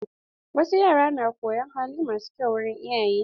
Wasu yara na koyon hali masu kyau wurin iyaye.